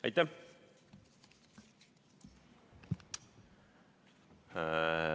Aitäh!